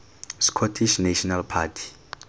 scottish national party